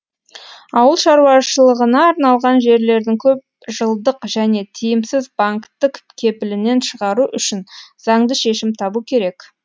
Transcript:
ауыл шаруашылығына арналған жерлердің көпжылдық және тиімсіз банктік кепілінен шығару үшін заңды шешім табу керек